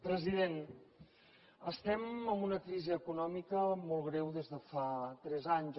president estem amb una crisi econòmica molt greu des de fa tres anys